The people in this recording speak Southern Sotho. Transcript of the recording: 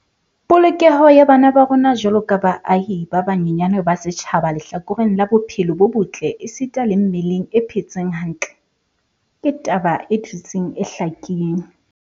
Polokeho ya bana ba rona jwaloka baahi ba banyenyane ba setjhaba lehlakoreng la bophelo bo botle esita le mmeleng e phetseng hantle, ke taba e dutseng e hlakile.